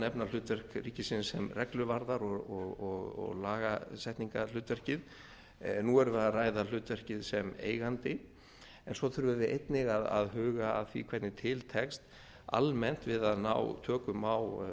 nefna hlutverk ríkisins sem regluvarðar og lagasetningarhlutverkið nú erum við að ræða hlutverkið sem eigandi en svo þurfum við einnig að huga að því hvernig til tekst almennt við að ná tökum á